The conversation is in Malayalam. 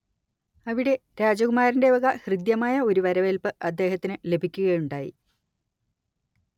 അവിടെ രാജകുമാരന്റെ വക ഹൃദ്യമായ ഒരു വരവേൽപ്പ് അദ്ദേഹത്തിന്‌ ലഭിക്കുകയുണ്ടായി